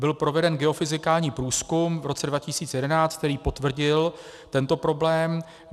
Byl proveden geofyzikální průzkum v roce 2011, který potvrdil tento problém.